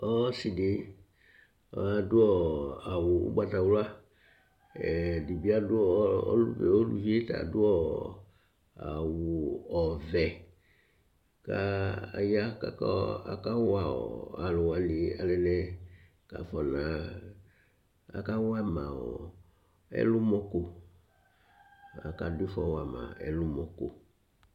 Ɔsìdí adu awu ugbatawla Ʋlʋvi ye ta adu awu ɔvɛ kʋ aya kʋ aka wama ɛlɔmɔ lo, aka du ifɔ wama ɛlɔmɔ ko